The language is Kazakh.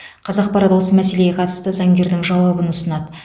қазақпарат осы мәселеге қатысты заңгердің жауабын ұсынады